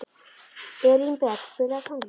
Elínbet, spilaðu tónlist.